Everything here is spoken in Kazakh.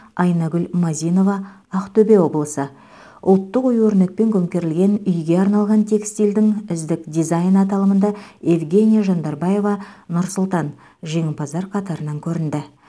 айнагүл мазинова ақтөбе облысы ұлттық ою өрнекпен көмкерілген үйге арналған текстильдің үздік дизайны аталымында евгения жандарбаева нұр сұлтан жеңімпаздар қатарынан көрінді